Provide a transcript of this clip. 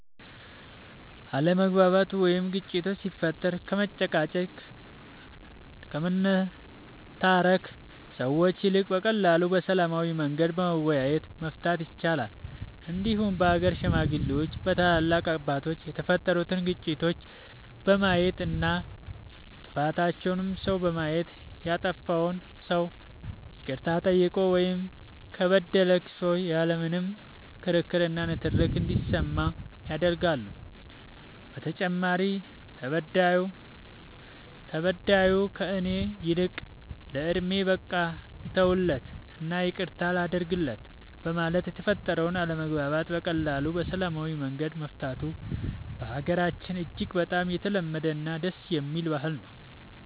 አለመግባባት ወይም ግጭት ሲፈጠር ከመጨቃጨቅ ከመነታረክ ሰዎች ይልቅ በቀላሉ በሰላማዊ መንገድ በመወያየት መፍታት ይቻላል እንዲሁም በሀገር ሽማግሌዎች በታላላቅ አባቶች የተፈጠሩትን ግጭቶች በማየት እና ጥፋተኛውን ሰው በማየት ያጠፋው ሰው ይቅርታ ጠይቆ ወይም ከበደለ ክሶ ያለ ምንም ክርክር እና ንትርክ እንዲስማማ ያደርጋሉ በተጨማሪም ተበዳዩ ከእኔ ይልቅ ለወንድሜ በቃ ልተውለት እና ይቅርታ ላድርግለት በማለት የተፈጠረውን አለመግባባት በቀላሉ በሰላማዊ መንገድ መፍታቱ በሀገራችን እጅግ በጣም የተለመደ እና ደስ የሚል ባህል ነው።